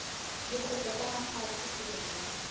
dikgopo tsa mahlaku hloohong ya